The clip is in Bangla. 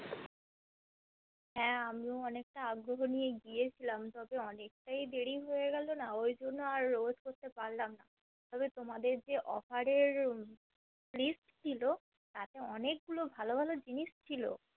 হা আমিও অনেকটা আগ্রহ নিয়েই গিয়েছিলাম তবে অনেকটাই দেরি হয়ে গেলোনা ওই জন্য আর Wait করতে পারলাম না তবে তোমাদের যে Offer এর List ছিল তাতে অনেক গুলো ভালো ভালো জিনিস ছিল